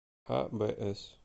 абс